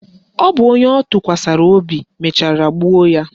Ọ bụ onye ọ tụkwasara obi mechara gbuo ya.